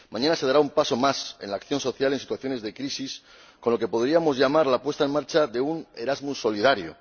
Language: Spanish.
Mañana se dará un paso más en la acción social en situaciones de crisis, con lo que podríamos llamar la puesta en marcha de un Erasmus solidario.